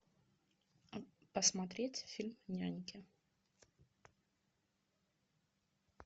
посмотреть фильм няньки